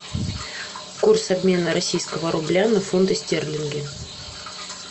курс обмена российского рубля на фунты стерлинги